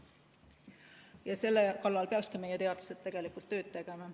Ja selle kallal peakski meie teadlased tööd tegema.